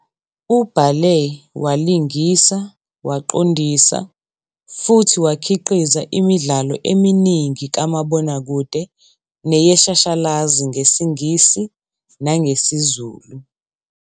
Ubhale, walingisa, waqondisa futhi wakhiqiza imidlalo eminingi kamabonakude neyeshashalazi ngesiNgisi nangesiZulu.